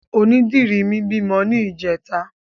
Onídìrí mi bímọ ní ìjẹta.